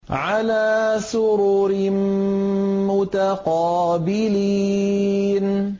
عَلَىٰ سُرُرٍ مُّتَقَابِلِينَ